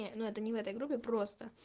и ну это не в этой группе просто